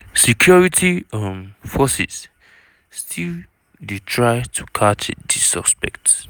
security um forces still dey try catch di suspects.